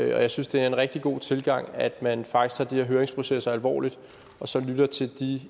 jeg synes det er en rigtig god tilgang at man faktisk her høringsprocesser alvorligt og så lytter til de